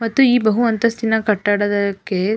ಮತ್ತು ಈ ಬಹು ಅಂತಸ್ತಿನ ಕಟ್ಟಡಕ್ಕೆ--